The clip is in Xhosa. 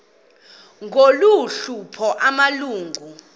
ngolu hlobo amalungu